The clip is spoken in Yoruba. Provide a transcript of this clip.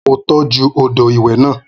Mo tọ́jú odò ìwẹ̀ náà